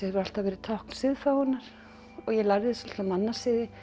alltaf verið tákn og ég lærði svolitla mannasiði